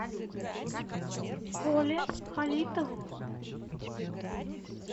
коле халитову